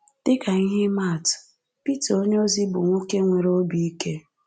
Dị ka ihe ị ma-atụ, Pita onyeozi bụ nwoke nwere obi ike.